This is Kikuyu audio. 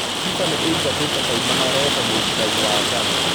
Fifa nĩ ĩingatĩte kaimana refa muikari wa Ghana